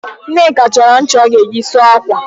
Nneka chọrọ ncha ọ ga-eji sụọ ákwà.